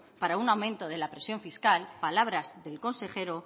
para un aumento de la presión fiscal palabras del consejero